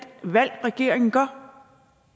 valg regeringen tager